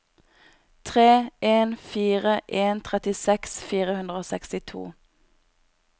tre en fire en trettiseks fire hundre og sekstito